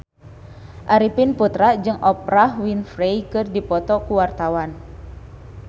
Arifin Putra jeung Oprah Winfrey keur dipoto ku wartawan